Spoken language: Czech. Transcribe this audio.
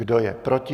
Kdo je proti?